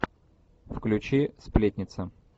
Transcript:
включи сплетница